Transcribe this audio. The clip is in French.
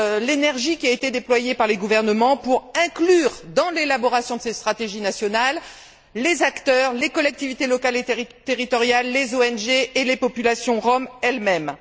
l'énergie qui a été déployée par les gouvernements pour inclure dans l'élaboration de ces stratégies nationales les acteurs, les collectivités locales et territoriales, les ONG et les populations roms elles mêmes.